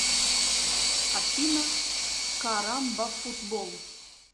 афина карамбафутбол